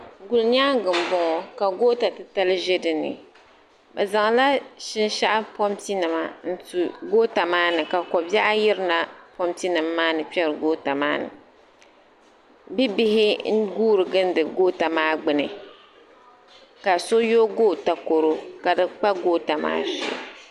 Gulinyaanga n bɔŋo ka goota titali ʒɛ dini bi zaŋ la shinshaɣu papu nima n tu goota maa ni ka kobɛɣu yirina pompi nim maa ni n kperi goota maa ni bi bihi n guuri gindi goota maa gbuni ka so yoogi o takoro ka di kpa goota maa shee.